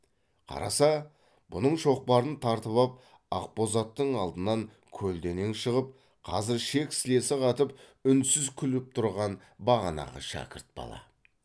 қараса бұның шоқпарын тартып ап ақ боз аттың алдынан көлденең шығып қазір шек сілесі қатып үнсіз күліп тұрған бағанағы шәкірт бала